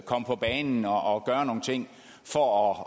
komme på banen og gøre nogle ting for at